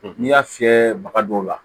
N'i y'a fiyɛ baga dɔw la